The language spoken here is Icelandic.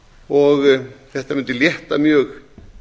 og þetta mundi létta mjög